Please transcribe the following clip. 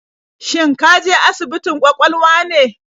Shin ka je asibitin kwakwalwa ne?